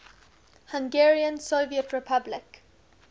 hungarian soviet republic